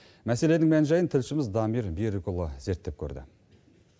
мәселенің мән жайын тілшіміз дамир берікұлы зерттеп көрді